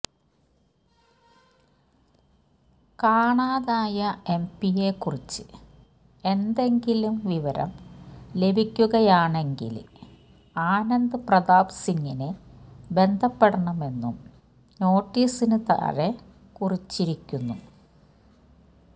കാണാതായ എംപിയെക്കുറിച്ച് എന്തെങ്കിലും വിവരം ലഭിക്കുകയാണെങ്കില് ആനന്ദ് പ്രതാപ് സിംഗിനെ ബന്ധപ്പെടണമെന്നും നോട്ടീസിന് താഴെ കുറിച്ചിരിക്കുന്നു